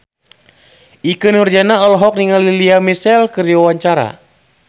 Ikke Nurjanah olohok ningali Lea Michele keur diwawancara